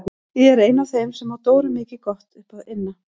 Ég er ein af þeim sem á Dóru mikið gott upp að inna.